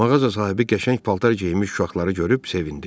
Mağaza sahibi qəşəng paltar geyinmiş uşaqları görüb sevindi.